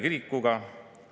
Kaks minutit lisaks, palun!